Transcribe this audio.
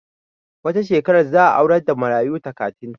Wata shekarar za a aurar da marayu takatin